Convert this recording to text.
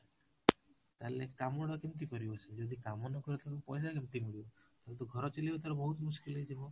ତାହାଲେ କାମଟା କେମିତି କରିବ ସେ ଯଦି କାମ ନ କରିବ ତାହାଲେ ପଇସା କେମିତି ମିଳିବ, ତାହାହଳେ ତ ଘର ଚିଲେଇବେ ତାହେଲେ ବହୁତ ହେଇଯିବ